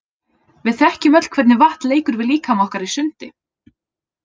Við þekkjum öll hvernig vatn leikur við líkama okkar í sundi.